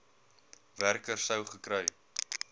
werker sou gekry